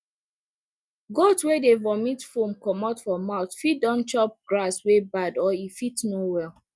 goat wey dey vomit foam comot for mouth fit don chop grass wey bad or e fit no well